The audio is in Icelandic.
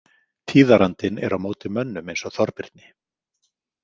Tíðarandinn er á móti mönnum eins og Þorbirni.